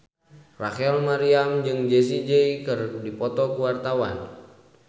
Rachel Maryam jeung Jessie J keur dipoto ku wartawan